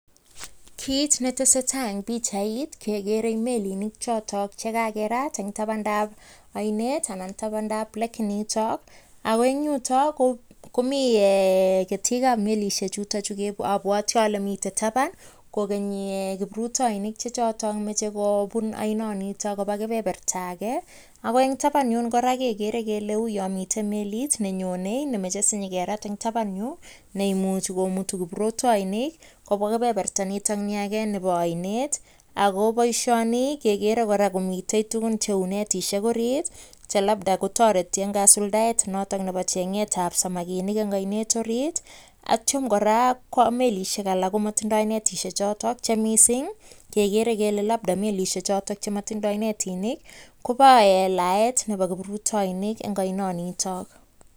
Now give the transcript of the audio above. Kiit neteseta en pichait kekere melinik chotok chekakerat en tabantab oinet anan tabantab lake initon ak en yuto komii ketikab melishe chuton chuu obwoti olee miten taban kokeni kiprutoinik chechotok moche kobun oiniton kobaa kebeberta akee, ak ko en taban yuno kora kekere kelee uyoon miten meliit nenyone nemoche sinyokerat en taban yuu nemuche komutu kiprutoinik kobwaa komosto nii akee nibo oinet ak ko boishoni kekere kora komiten tukun cheuu netishek oriit che labda kotoreti en kasuldaet noton nebo cheng'etab samakinik eng' oinet oriit ak kityo kora ko melisek alak komotindoi netishe choton chemising kekere kelee labda melishe choton chemotindoi netinik kobo laet nebo kiprutoinik en oinoniton.